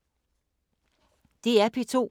DR P2